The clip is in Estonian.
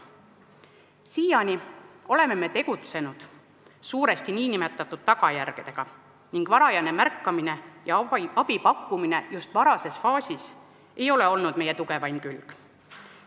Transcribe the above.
Siiani oleme tegutsenud suuresti tagajärgedega ning varajane märkamine ja abi pakkumine just varases faasis ei ole olnud meie tugevaim külg.